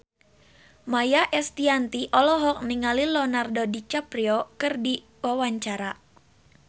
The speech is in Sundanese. Maia Estianty olohok ningali Leonardo DiCaprio keur diwawancara